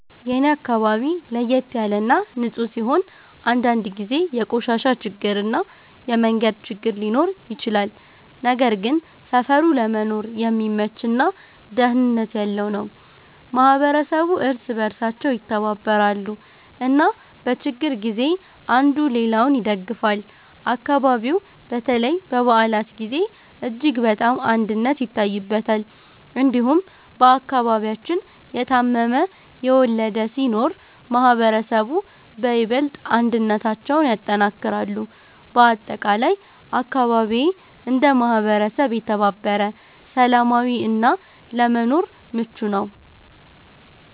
የኔ አካባቢ ለየት ያለ እና ንፁህ ሲሆን፣ አንዳንድ ጊዜ የቆሻሻ ችግር እና የመንገድ ችግር ሊኖር ይችላል። ነገር ግን ሰፈሩ ለመኖር የሚመች እና ደህንነት ያለው ነው። ማህበረሰቡ እርስ በእርሳቸው ይተባበራሉ እና በችግር ጊዜ አንዱ ሌላውን ይደግፋል። አካባቢው በተለይ በበዓላት ጊዜ እጅግ በጣም አንድነት ይታይበታል። እንዲሁም በአከባቢያችን የታመመ፣ የወለደ ሲኖር ማህበረሰቡ በይበልጥ አንድነታቸውን ያጠናክራሉ። በአጠቃላይ አካባቢዬ እንደ ማህበረሰብ የተባበረ፣ ሰላማዊ እና ለመኖር ምቹ ነው።